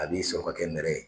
A bi sɔrɔ ka kɛ nɛrɛ ye.